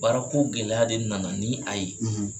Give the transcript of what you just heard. Baarako gɛlɛya de nana ni a ye